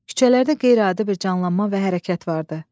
Küçələrdə qeyri-adi bir canlanma və hərəkət vardı.